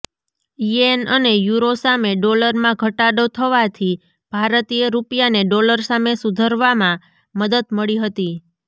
યેન અને યુરો સામે ડોલરમાં ઘટાડો થવાથી ભારતીય રૂપિયાને ડોલર સામે સુધરવામાં મદદ મળી હતી